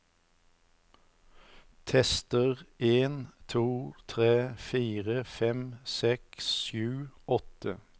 Tester en to tre fire fem seks sju åtte